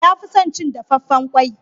Ya fi son cin dafaffen kwai.